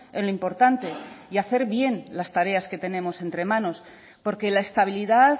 en lo importante y hacer bien las tareas que tenemos entre manos porque la estabilidad